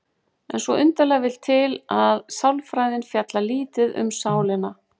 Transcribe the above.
En svo undarlega vill til að sálfræðin fjallar lítið um sálina.